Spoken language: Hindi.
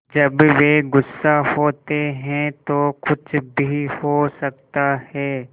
जब वे गुस्सा होते हैं तो कुछ भी हो सकता है